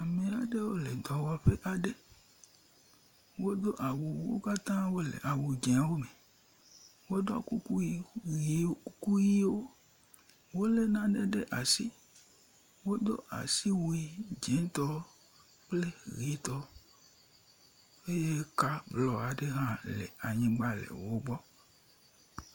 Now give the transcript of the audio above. Ame aɖewo le dɔwɔƒe aɖe. Wodo awu wo katã wole awu dzẽwo me. Woɖɔ kuku ʋi ʋi kuku ʋiwo. Wolé nane ɖe asi. Wodo asiwui dzĩŋtɔ kple ʋitɔ eye ka lɔ aɖe hã le anyigba le wogbɔ